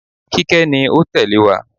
Kíkẹ́ ni ó tẹ̀lé wá.